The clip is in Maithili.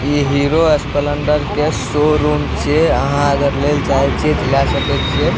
इ हीरो स्प्लेंडर के शोरूम छै अहाँ अगर लेल चाही छिए त लै सके छिए।